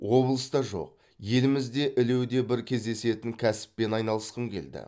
облыста жоқ елімізде ілуде бір кездесетін кәсіппен айналысқым келді